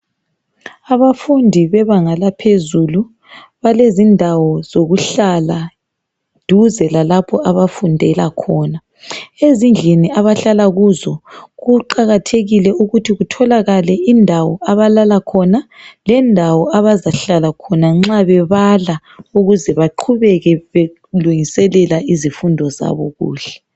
Abafundi bebanga laphezulu balendawo zokuhlala duze lalapho abafundela khona. Ezindlini abahlala kuzo kuqakathekile ukuthi kutholakale indawo abalala khona lendawo abazahlala khona nxa bebala ukuze beqhubeke belungiselela izifundo zabo kuhle.